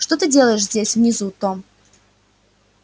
что ты делаешь здесь внизу том